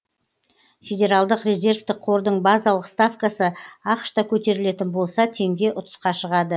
федералдық резервтік қордың базалық ставкасы ақш та көтерілетін болса теңге ұтысқа шығады